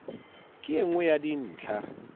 ke e nngwe ya dintlha